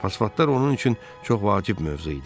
Fosfatlar onun üçün çox vacib mövzu idi.